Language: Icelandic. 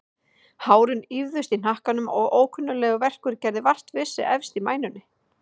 Hárin ýfðust í hnakkanum og ókunnuglegur verkur gerði vart við sig efst í mænunni.